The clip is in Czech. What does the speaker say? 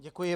Děkuji.